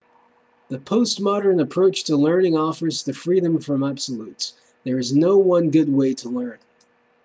the postmodern approach to learning offers the freedom from absolutes there is no one good way to learn